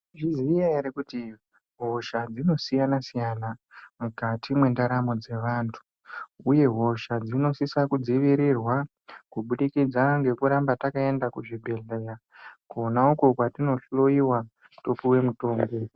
Muchukuziya ere kuti hosha dzinosiyanasiyana mukati mwendaramo dzevantu uye hosha dzinosisa kudzivirirwa kubudikidza ngekuramba takaenda kuzvibhehleya kona uko kwatinohloyiwa topuwe mutombo.